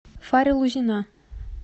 фаря лузина